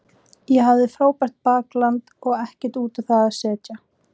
Ég hafði frábært bakland og ekkert út á það að setja.